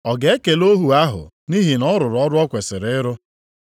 Ọ ga-ekele ohu ahụ nʼihi na ọ rụrụ ọrụ o kwesiri ịrụ?